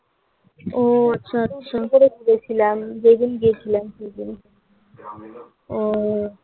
ও আচ্ছা আচ্ছা করে ঘুরেছিলাম যেদিন গেছিলাম সেদিন